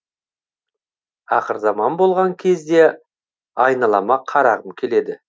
ақырзаман болған кезде айналама қарағым келеді